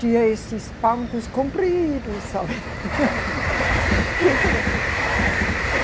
Tinha esses bancos compridos, sabe?